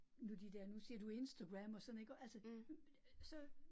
Nu de der, nu siger du Instagram, og sådan iggå altså så